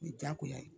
O ye diyagoya ye